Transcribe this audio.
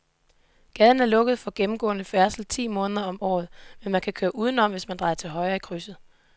Gaden er lukket for gennemgående færdsel ti måneder om året, men man kan køre udenom, hvis man drejer til højre i krydset.